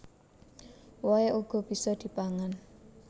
Wohé uga bisa dipangan